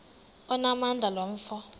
onamandla lo mfo